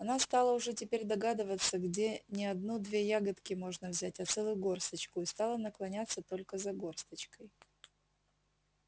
она стала уже теперь догадываться где не одну две ягодки можно взять а целую горсточку и стала наклоняться только за горсточкой